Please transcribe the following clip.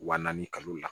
Wa naani kalo la